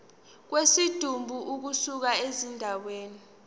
kwesidumbu ukusuka endaweni